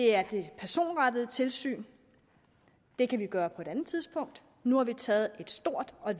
er det personrettede tilsyn det kan vi gøre på et andet tidspunkt nu har vi taget et stort og